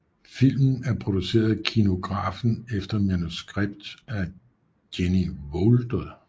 Filmen er produceret af Kinografen efter manuskript af Jenny Wolder